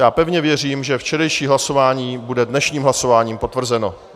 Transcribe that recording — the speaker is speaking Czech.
Já pevně věřím, že včerejší hlasování bude dnešním hlasováním potvrzeno.